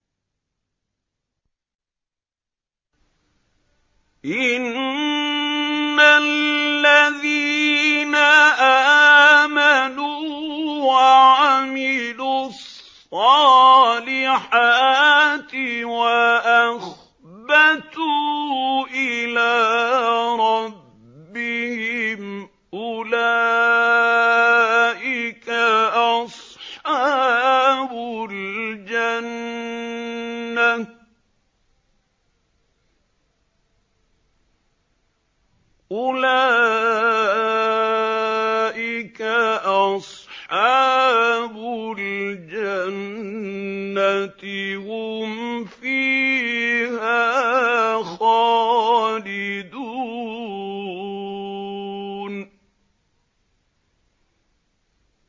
إِنَّ الَّذِينَ آمَنُوا وَعَمِلُوا الصَّالِحَاتِ وَأَخْبَتُوا إِلَىٰ رَبِّهِمْ أُولَٰئِكَ أَصْحَابُ الْجَنَّةِ ۖ هُمْ فِيهَا خَالِدُونَ